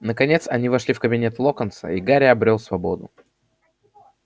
наконец они вошли в кабинет локонса и гарри обрёл свободу